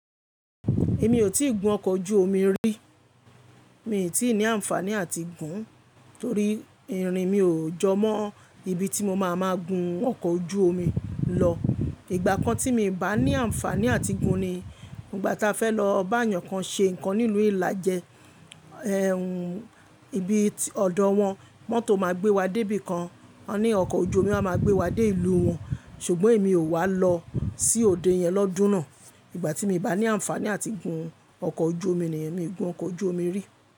Èmi ò tíì gun ọkọ̀ ojú omi rí, mi ò tí ní àǹfàní àtigún torí irin mi ò jọ mọ́ ibi tí mo máa ma gun ọkọ̀ ojú omi lọ. Ìgbà kan tí mi bà ní àǹfàní àtigún ni ìgbà tá fẹ́ lọ bá èèyàn kan ṣe nǹkan ní ìlú ìlàjẹ. Ẹ̀hún, ibi ọ̀dọ̀ wọn mọ́tò ma gbé wa dé ibìkan, wọ́n ní ọkọ̀ ojú omi máa ma gbé wa dé ìlú wọn, ṣùgbọ́n èmi ò wá lọ sí òde yẹn lọ́dún náà. Ìgbà tí mi bà ní àǹfàní àtigún ọkọ̀ ojú omi nìyẹn, mi ò gun ọkọ̀ ojú omi rí.